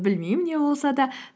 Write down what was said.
білмеймін не болса да